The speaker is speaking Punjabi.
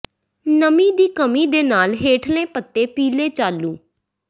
ਨਮੀ ਦੀ ਕਮੀ ਦੇ ਨਾਲ ਹੇਠਲੇ ਪੱਤੇ ਪੀਲੇ ਚਾਲੂ